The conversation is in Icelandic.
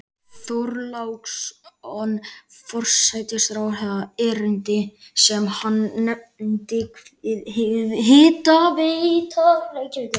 Þorláksson forsætisráðherra erindi sem hann nefndi Hitaveita Reykjavíkur.